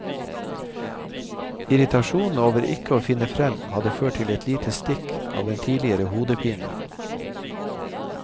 Irritasjonen over ikke å finne fram hadde ført til et lite stikk av den tidligere hodepinen.